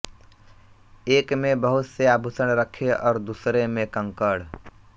एक में बहुत से आभूषण रखे और दूसरे में कंकड़